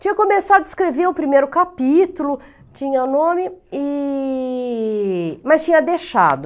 Tinha começado a escrever o primeiro capítulo, tinha o nome e... mas tinha deixado.